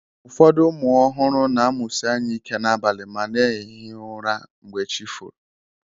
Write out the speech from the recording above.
Ụfọdụ ụmụ ọhụrụ na-emusi anya ike n'abalị ma na-ehi ụra mgbe chi foro